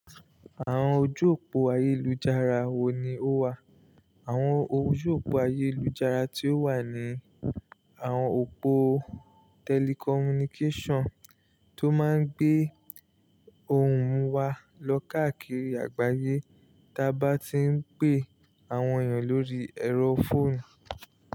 Àwọn ojú òpó ayélujára wo ni ó wà? Àwọn ojú òpó ayélujára tí ó wà ni àwọn òpó telecommunication tó máa ń gbé ohùn wa lọ káàkiri àgbáyé, tí a bá tí ń pè àwọn èèyàn lórí ẹ̀rọ fóònù.